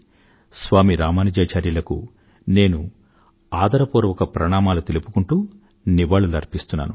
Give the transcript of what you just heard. స్వామి రామనుజాచార్యులకు నేను ఆదరపూర్వక ప్రణామాలు తెలుపుకుంటూ నివాళులర్పిస్తున్నాను